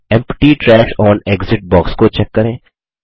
empty trash on exit box को check करें